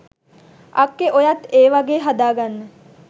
අක්කේ ඔයත් ඒ වගේ හදා ගන්න